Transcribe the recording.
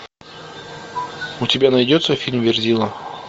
у тебя найдется фильм верзила